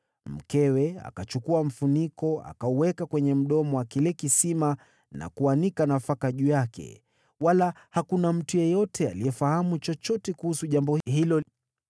Mkewe akachukua kifuniko, akakiweka kwenye mdomo wa kile kisima na kuanika nafaka juu yake. Hakuna mtu yeyote aliyefahamu chochote kuhusu jambo hilo.